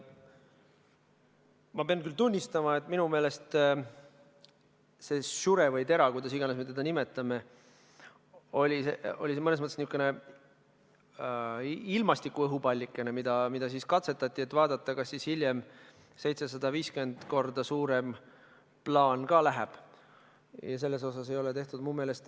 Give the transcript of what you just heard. Ma pean küll tunnistama, et minu meelest see SURE või TERA, kuidas iganes me seda nimetame, oli mõnes mõttes niisugune ilmastiku õhupallike, mida katsetati, et vaadata, kas hiljem 750 korda suurem plaan ka läbi läheb.